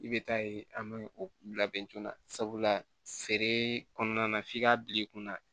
I bɛ taa ye an bɛ o labɛn joona sabula feere kɔnɔna na f'i k'a bila i kunna